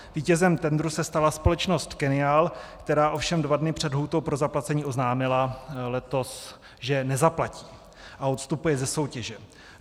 Vítězem tendru se stala společnost Kennial, která ovšem dva dny před lhůtou pro zaplacení oznámila letos, že nezaplatí a odstupuje ze soutěže.